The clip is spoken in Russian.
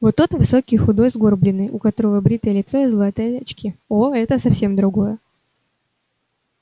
вот тот высокий худой сгорбленный у которого бритое лицо и золотые очки о это совсем другое